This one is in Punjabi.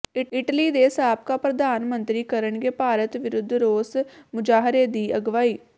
ਇਟਲੀ ਦੇ ਸਾਬਕਾ ਪ੍ਰਧਾਨ ਮੰਤਰੀ ਕਰਨਗੇ ਭਾਰਤ ਵਿਰੁੱਧ ਰੋਸ ਮੁਜ਼ਾਹਰੇ ਦੀ ਅਗਵਾਈ